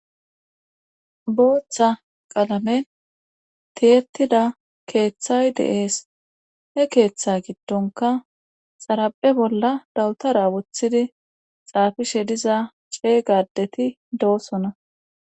booththa qalamen tiyettida keeththay de7ees he keeththa giddonka xaraphe bolla dawutara wothidi xaafishe diza ceey gadeti doosona